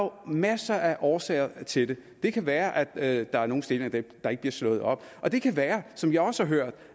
masser af årsager til det det kan være at der er nogle stillinger der ikke bliver slået op og det kan være som jeg også har hørt